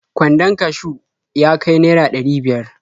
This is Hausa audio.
Kwandon kashiw ya ka naira ɗari biyar.